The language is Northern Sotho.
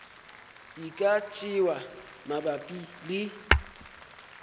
e ka tšewa mabapi le